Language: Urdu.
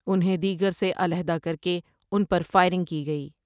انھیں دیگر سے علاحدہ کر کے ان پر فائرنگ کی گئی ۔